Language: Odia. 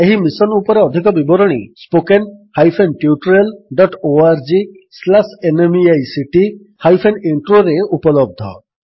ଏହି ମିଶନ୍ ଉପରେ ଅଧିକ ବିବରଣୀ spoken hyphen tutorial dot ORG slash NMEICT hyphen Introରେ spoken tutorialorgnmeict ଇଣ୍ଟ୍ରୋ ଉପଲବ୍ଧ